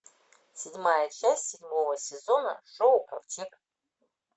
седьмая часть седьмого сезона шоу ковчег